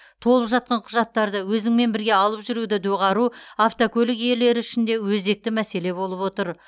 толып жатқан құжаттарды өзіңмен бірге алып жүруді доғару автокөлік иелері үшін де өзекті мәселе болып отыр